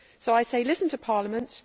I say listen to Parliament.